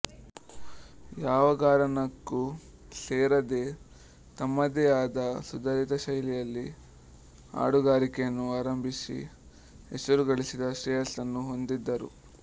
ಯಾವಘರಾನಕ್ಕೂ ಸೇರದೆ ತಮ್ಮದೇ ಆದ ಸುಧಾರಿತ ಶೈಲಿಯಲ್ಲಿ ಹಾಡುಗಾರಿಕೆಯನ್ನು ಆರಂಭಿಸಿ ಹೆಸರುಗಳಿಸಿದ ಶ್ರೇಯಸ್ಸನ್ನು ಹೊಂದಿದರು